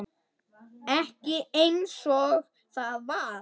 Ekki einsog það var.